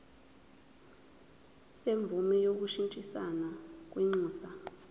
semvume yokushintshisana kwinxusa